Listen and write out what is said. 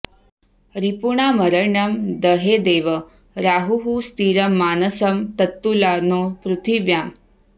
रिपूणामरण्यं दहेदेव राहुः स्थिरं मानसं तत्तुला नो पृथिव्याम्